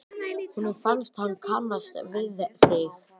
Honum fannst hann kannast við þig.